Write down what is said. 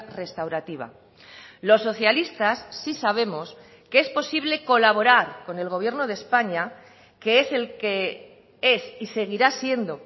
restaurativa los socialistas sí sabemos que es posible colaborar con el gobierno de españa que es el que es y seguirá siendo